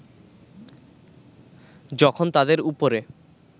যখন তাদের উপরে